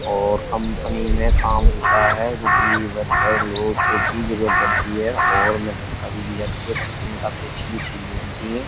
और कंपनी में काम होता है जो कि वर्कर लोगों की जरूरत पड़ती है और उन्हें तनख्वा भी दी जाती है। कंपनी में काफी अच्छी-अच्छी चीज़ें बनती है।